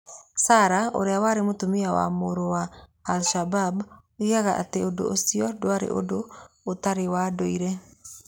Sara, ũrĩa warĩ mũtumia wa mũrũa wa al-Shabab, oigaga atĩ ũndũ ũcio ndwarĩ ũndũ ũtarĩ wa ndũire.